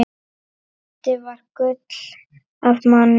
Addi var gull af manni.